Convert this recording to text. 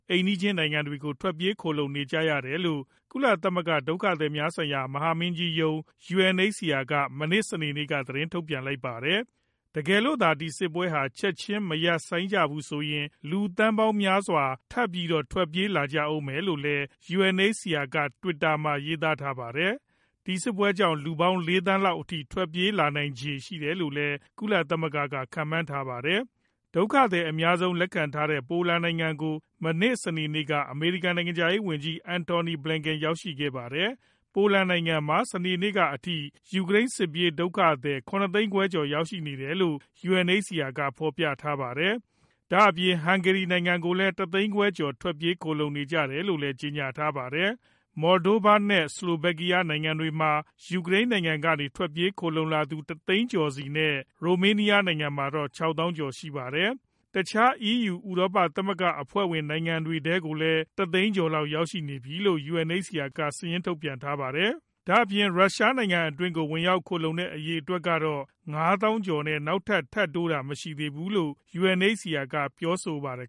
အိမ်နီးချင်းနိုင်ငံတွေကို ထွက်ပြေးခိုလှုံနေကြရတယ်လို့ ကုလသမဂ္ဂ ဒုက္ခသည်များဆိုင်ရာ မဟာမင်းကြီးရုံး (UNHCR) က မနေ့ စနေနေ့က သတင်းထုတ်ပြန်လိုက်ပါတယ်။ တကယ်လို့သာ ဒီစစ်ပွဲဟာ ချက်ချင်းမရပ်ဆိုင်းကြဘူးဆိုရင် လူသန်းပေါင်းများစွာ ထပ်ပြီးတော့ ထွက်ပြေးလာကြဦးမယ်လို့လည်း UNHCR က တွစ်တာမှာ ရေးသားထားပါတယ်။ ဒီစစ်ပွဲကြောင့် လူပေါင်း ၄ သန်းလောက်အထိ ထွက်ပြေးလာနိုင်ခြေရှိတယ်လို့ ကုလသမဂ္ဂက ခန့်မှန်းထားတာပါ။ ဒုက္ခသည်အများဆုံး လက်ခံထားတဲ့ ပိုလန်နိုင်ငံကို မနေ့ စနေနေ့က အမေရိကန် နိုင်ငံခြားရေးဝန်ကြီး Antony Blinken ရောက်ရှိခဲ့ပါတယ်။ ပိုလန်နိုင်ငံမှာ စနေနေ့ကအထိ ယူကရိန်း စစ်ပြေးဒုက္ခသည် ၇ သိန်းခွဲကျော် ရောက်ရှိနေတယ်လို့ UNHCR က ဖော်ပြထားပါတယ်။ ဒါ့အပြင် ဟန်ဂေရီနိုင်ငံကိုလည်း ၁ သိန်းခွဲကျော် ထွက်ပြေးခိုလှုံနေတယ်လို့ ကြေညာထားပါတယ်။ Moldova နဲ့ Slovakia နိုင်ငံတွေမှာ ယူကရိန်းကနေ ထွက်ပြေးခိုလှုံလာသူ ၁ သိန်းကျော်စီနဲ့ ရိုမေးနီးယားနိုင်ငံမှာတော့ ၆ သောင်းကျော် ရှိနေပါတယ်။ တခြား EU ဥရောပသမဂ္ဂအဖွဲ့ဝင် နိုင်ငံတွေထဲမှာလည်း ၁ သိန်းကျော်လောက် ရောက်ရှိနေပြီလို့ UNHCR က စာရင်းထုတ်ပြန်ထားပါတယ်။ ဒါ့အပြင် ရုရှားနိုင်ငံအတွင်းကို ဝင်ရောက်ခိုလှုံတဲ့ အရေအတွက်ကတော့ ၅ သောင်းကျော်နဲ့ နောက်ထပ် ထပ်တိုးတာ မရှိသေးဘူးလို့ UNHCR က ပြောပါတယ်